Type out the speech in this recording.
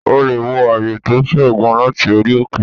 O lè wo ààyè to fe gan láti orí òkè